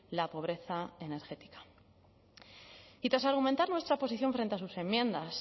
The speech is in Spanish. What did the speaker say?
la pobreza energética y tras argumentar nuestra posición frente a sus enmiendas